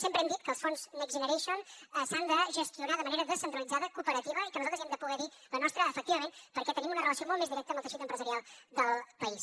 sempre hem dit que els fons next generation s’han de gestionar de manera descentralitzada cooperativa i que nosaltres hi hem de poder dir la nostra efectivament perquè tenim una relació molt més directa amb el teixit empresarial del país